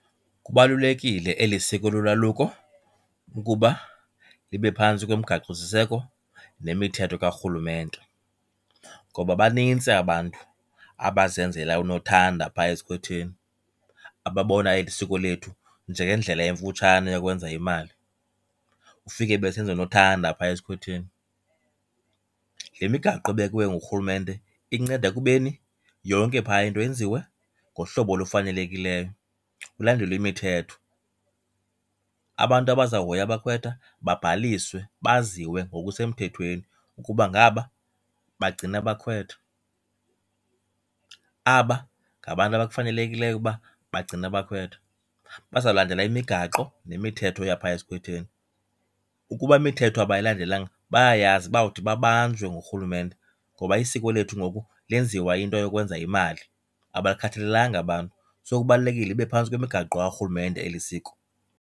Kubalulekile eli siko lolwaluko ukuba libe phantsi komgaqosiseko nemithetho kaRhulumente. Ngoba banintsi abantu abazenzela unothanda phaa esikhwetheni, ababona eli siko lethu njengendlela emfutshane yokwenza imali, ufike besenza unothanda phaya esikhwetheni. Le migaqo ebekwe nguRhulumente inceda ekubeni yonke phaa into yenziwe ngohlobo olufanelekileyo, kulandelwe imithetho. Abantu abazawuhoya abakhwetha babhaliswe, baziwe ngokusemthethweni ukuba ngaba bagcina abakhwetha, aba ngabantu abafanelekileyo uba bagcine abakhwetha. Bazawulandela imigaqo nemithetho yaphaa esikhwetheni. Ukuba imithetho abayilandelanga bayayazi bawuthi babanjwe nguRhulumente ngoba isiko lethu ngoku lenziwa into yokwenza yimali, abakhathalelanga aba bantu. So, kubalulekile libe phantsi kwemigaqo kaRhulumente eli siko.